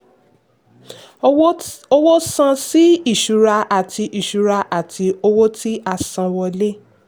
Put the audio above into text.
owó san sí ìṣura àti ìṣura àti owó tí-a-san-wọ́lé.